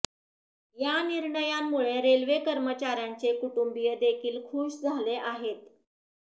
या निर्णयामुळे रेल्वे कर्मचाऱ्यांचे कुटुंबिय देखील खूश झाले आहेत